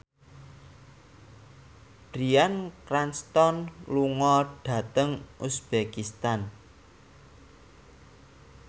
Bryan Cranston lunga dhateng uzbekistan